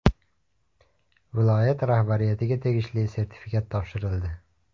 Viloyat rahbariyatiga tegishli sertifikat topshirildi.